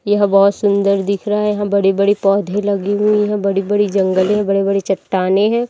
यह बहोत सुंदर दिख रहा है यहाँ बड़ी-बड़ी पौधे लगी हुई है बड़ी-बड़ी जंगले है बड़ी-बड़ी चट्टाने है।